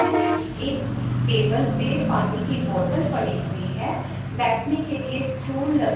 हैं एक टेबल पे पानी की बॉटल पड़ी हुई है बैठने के लिए स्टूल लगे--